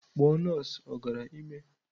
Kpọọ nọọsụ ọ gara ime!